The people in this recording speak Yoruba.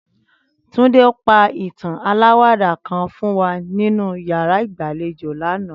Túndé pa ìtàn aláwàdà kan fún wa nínú yàrá ìgbàlejò lánàá